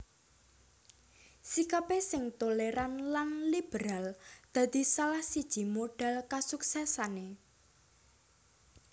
Sikapé sing tolèran lan liberal dadi salah siji modhal kasuksèsané